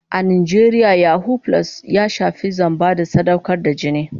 A Najeriya yahoo + ya shafi zamba da sadaukar da jini.